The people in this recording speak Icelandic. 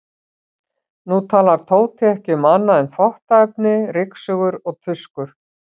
Nú talar Tóti ekki um annað en þvottaefni, ryksugur og tuskur.